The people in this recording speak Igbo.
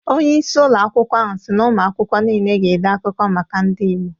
Onye isi ụlọ akwụkwọ ahụ si na ụmụakwụkwọ niile ga-ede akụkọ maka ndị Igbo